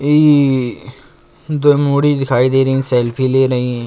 ई दिखाई दे रही हैं। सेल्फी ले रही हैं।